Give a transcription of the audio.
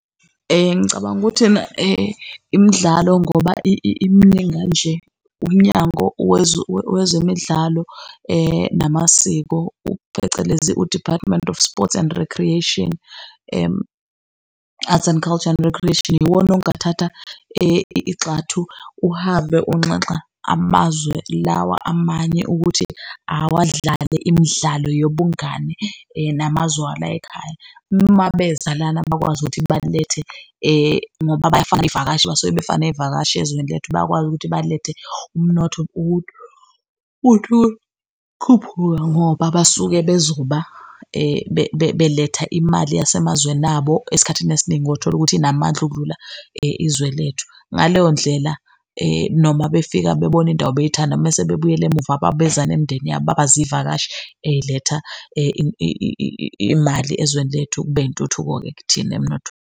Ngicabanga ukuthi ena imidlalo ngoba iminingi kanje, Umnyango Wezemidlalo Namasiko phecelezi u-Department of Sports and Recreation Arts and Culture and Recreation, iwona ongathatha igxathu, uhambe unxanxa amazwe lawa amanye ukuthi awadlale imidlalo yobungani namazwe alayikhaya. Uma beza lana bakwazi ukuthi balethe ngoba bayafaka iy'vakashi basuke befaka ney'vakashi ezweni lethu, bayakwazi ukuthi balethe umnotho uthi ukukhuphuka ngoba basuke bezoba beletha imali yasemazweni abo, esikhathini esiningi otholukuthi inamandla ukudlula izwe lethu. Ngaleyo ndlela noma befika bebona indawo beyithanda, mese bebuyele emuva beza nemndeni yabo baba izivakashi ey'letha imali ezweni lethu kube intuthuko-ke kithina emnotho.